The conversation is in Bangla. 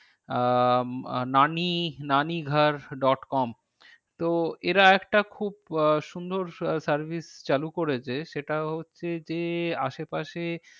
আহ নানী dot com তো এরা একটা খুব আহ সুন্দর service চালু করেছে সেটা হচ্ছে যে আশে পাশে